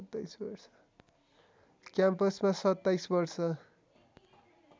क्याम्पसमा २७ वर्ष